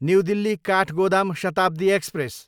new Delhi, Kathgodam Shatabdi express